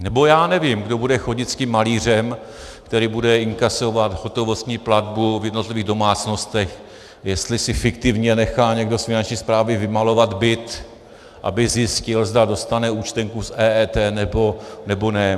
Nebo já nevím, kdo bude chodit s tím malířem, který bude inkasovat hotovostní platbu v jednotlivých domácnostech, jestli si fiktivně nechá někdo z Finanční správy vymalovat byt, aby zjistil, zda dostane účtenku s EET nebo ne.